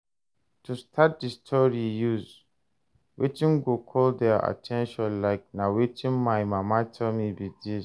To start di story use wetin go call their at ten tion like 'na wetin my mama tell me be this'